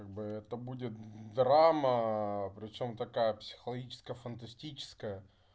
как бы это будет драма причём такая психологическая фантастическая